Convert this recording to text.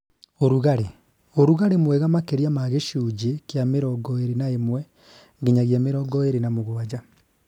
Ũrugarĩ - ũrugarĩ mwega makĩria ma gĩcunjĩ kĩa mĩrongo ĩrĩ na ĩmwe nginyagia mĩrongo ĩrĩ na mũgwanja